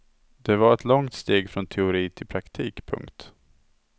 Det var ett långt steg från teori till praktik. punkt